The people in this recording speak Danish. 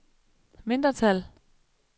mindretal